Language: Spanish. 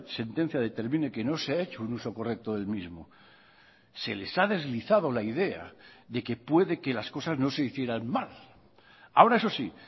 sentencia determine que no se ha hecho un uso correcto del mismo se les ha deslizado la idea de que puede que las cosas no se hicieran mal ahora eso sí